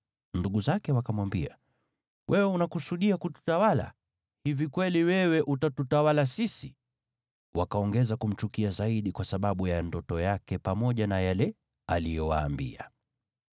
Ndugu zake wakamwambia, “Wewe unakusudia kututawala? Hivi kweli wewe utatutawala sisi?” Wakaongeza kumchukia zaidi kwa sababu ya ndoto yake pamoja na yale aliyowaambia.